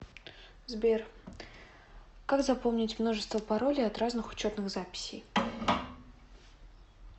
сбер как запомнить множество паролей от разных учетных записей